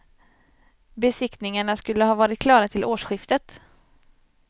Besiktningarna skulle ha varit klara till årsskiftet.